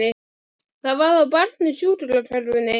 Það var þá barn í sjúkrakörfunni!